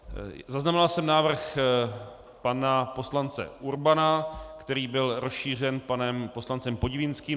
Zaznamenal jsem návrh pana poslance Urbana, který byl rozšířen panem poslancem Podivínským.